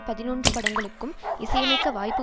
பதினொன்று படங்களுக்கும் இசையமைக்க வாய்ப்பு